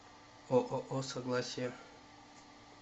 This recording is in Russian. ооо согласие